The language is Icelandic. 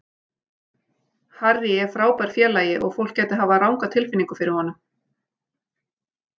Harry er frábær félagi og fólk gæti hafa ranga tilfinningu fyrir honum.